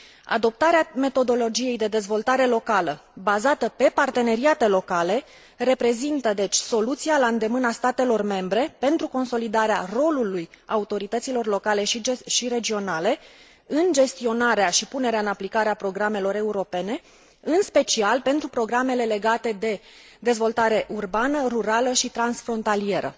Adoptarea metodologiei de dezvoltare locală bazată pe parteneriate locale reprezintă, deci, soluția la îndemâna statelor membre pentru consolidarea rolului autorităților locale și regionale în gestionarea și punerea în aplicare a programelor europene, în special pentru programele legate de dezvoltare urbană, rurală și transfrontalieră.